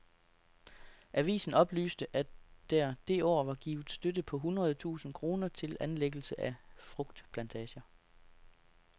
Avisen oplyste, at der det år var givet støtte på hundrede tusind kroner til anlæggelse af frugtplantager.